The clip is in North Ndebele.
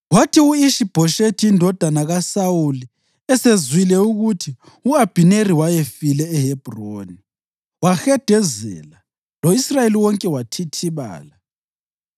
Kwathi u-Ishi-Bhoshethi indodana kaSawuli esezwile ukuthi u-Abhineri wayefile eHebhroni, wahedezela, lo-Israyeli wonke wathithibala.